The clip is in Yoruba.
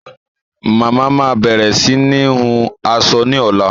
Mama máa bẹ̀rẹ̀ sini hun aṣọ ni ọ̀la